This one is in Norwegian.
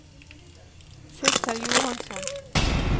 Sissel Johansson